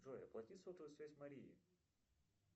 джой оплати сотовую связь марии